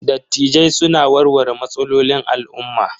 Dattijai suna warware matsalolin al'umma.